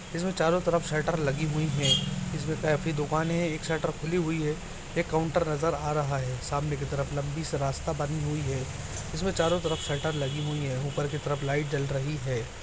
इसमें जो चारो तरफ शटर लगी हुई है। इसमें काफी दुकाने हैं। एक शटर खुली हुई है। एक काउंटर नज़र रहा है सामने के तरफ लंबी सी रास्ता बनी हुई है उसमे चारो तरफ शटर लगी हुई है। ऊपर की तरफ लाइट जल रही है।